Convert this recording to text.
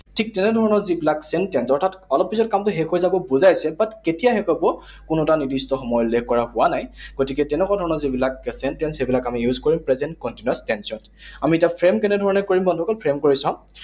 ঠিক তেনে ধৰণৰ যিবিলাক sentence, অৰ্থাৎ অলপ পিছত কামটো শেষ হৈ যাব বুজাইছে, but কেতিয়া শেষ হব, কোনো তাৰ নিৰ্দিষ্ট সময় উল্লেখ কৰা হোৱা নাই। গতিকে তেনেকুৱা ধৰণৰ যিবিলাক present tense, সেইবিলাক আমি use কৰিম present continuous tense ত। আমি এতিয়া frame কেনে ধৰণেৰে কৰিম, বন্ধুসকল, frame কৰি চাওঁ।